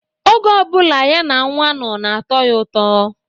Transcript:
Oge ọ bụla ya na nwa nno na-atọ ya ụtọ.